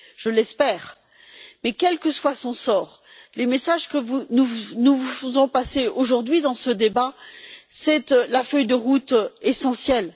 Je l'espère, mais, quel que soit son sort, les messages que nous vous faisons passer aujourd'hui dans ce débat constituent la feuille de route essentielle.